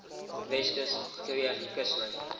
weskus kreef kuslyn